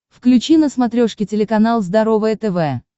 включи на смотрешке телеканал здоровое тв